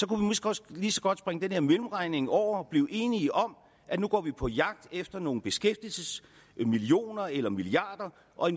kunne vi måske også lige så godt springe den her mellemregning over og blive enige om at nu går vi på jagt efter nogle beskæftigelsesmillioner eller milliarder og